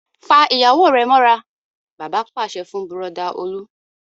Fa ìyàwó rẹ mọ́ra! Bàbá pàṣẹ fún Bùrọ̀dá Olú.